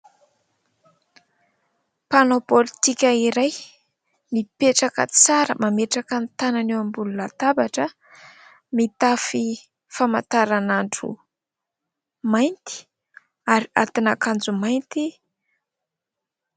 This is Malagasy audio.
Mpanao politika iray. Mipetraka tsara. Mametraka ny tanany eo ambony latabatra. Mitafy famataranandro mainty ary atin-akanjo mainty.